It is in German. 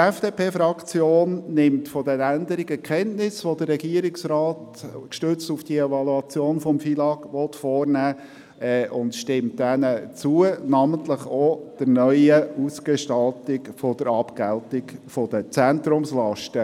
Die FDP-Fraktion nimmt von den Änderungen, welche der Regierungsrat, gestützt auf die Evaluation des FILAG, vornehmen will, Kenntnis und stimmt diesen zu, namentlich auch der neuen Ausgestaltung der Abgeltung der Zentrumslasten.